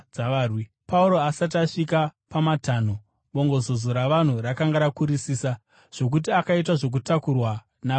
Pauro akati asvika pamatanho, bongozozo ravanhu rakanga rakurisa zvokuti akaita zvokutotakurwa navarwi.